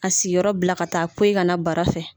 A siyɔrɔ bila ka taa poyi ka na bara fɛ.